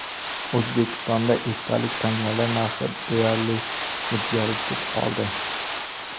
O‘zbekistonda esdalik tangalar narxi deyarli o‘zgarishsiz qoldi.